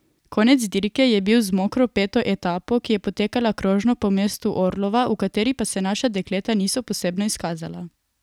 Konec dirke je bil z mokro peto etapo, ki je potekala krožno po mestu Orlova, v kateri pa se naša dekleta niso posebno izkazala.